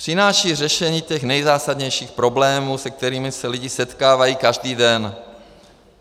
Přináší řešení těch nejzásadnějších problémů, se kterými se lidé setkávají každý den.